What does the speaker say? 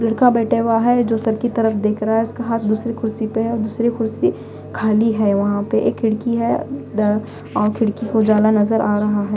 लड़का बैठे हुआ है जो सर की तरफ देख रहा है उसका हाथ दूसरी कुर्सी पे है अ दूसरी कुर्सी खाली है वहाँ पे एक खिड़की है अ द अं खिड़की को उजाला नजर आ रहा है।